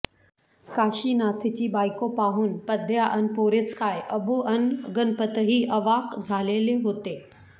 काशीनाथची बायको पाहून पद्या अन पोरेच काय अबू अन गणपतही अवाक झालेले होते